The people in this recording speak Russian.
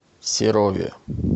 серове